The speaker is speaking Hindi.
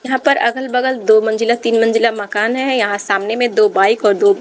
यहां पर अगल बगल दो मंजिला तीन मंजिला मकान है यहां सामने में दो बाइक और दो--